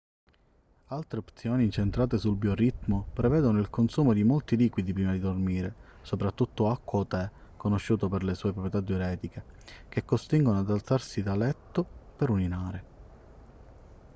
altre opzioni incentrate sul bioritmo prevedono il consumo di molti liquidi prima di dormire soprattutto acqua o tè conosciuto per le sue proprietà diuretiche che costringono ad alzarsi da letto per urinare